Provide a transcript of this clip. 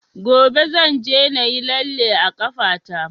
Gobe zan je na yi lalle a ƙafa ta